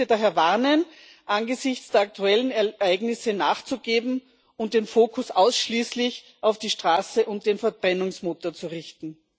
Ich möchte daher warnen, angesichts der aktuellen Ereignisse nachzugeben und den Fokus ausschließlich auf die Straße und den Verbrennungsmotor zu richten.